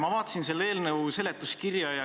Ma vaatasin selle eelnõu seletuskirja.